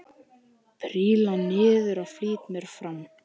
Príla niður og flýti mér fram.